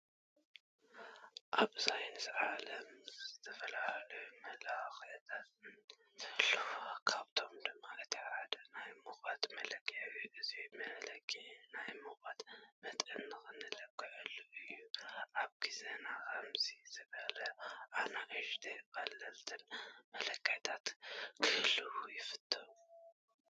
ኣብ ሳይንስ ዓለም ዝተፈተላለዩ መለኺዒታት እንትህልው ኣብኣቶም ድማ እቲ ሓደ ናይ ሙቀት መለክዒ እዩ። እዚ መለክዒ ናይ ሙቀት መጠንና እንልክዓሉ እዩ። ኣብ ግዛና ከምዚኦም ዝበሉ ኣናእሽተይን ቀለልትን መለክዒታት ክህልው ይፈትው።